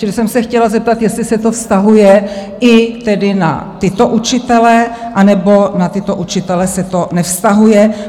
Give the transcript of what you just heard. Čili jsem se chtěla zeptat, jestli se to vztahuje i tedy na tyto učitele, anebo na tyto učitele se to nevztahuje?